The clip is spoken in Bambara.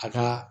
A ka